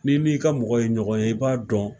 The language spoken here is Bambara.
N'i ni ka mɔgɔ ye ɲɔgɔn ye i b'a dɔn